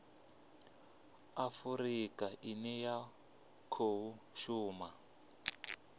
afurika ine ya khou shuma